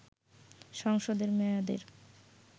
সংসদের মেয়াদের